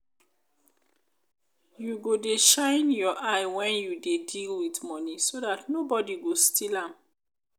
you go dey shine your eye wen you dey deal with money so dat nobody got steal am